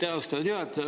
Aitäh, austatud juhataja!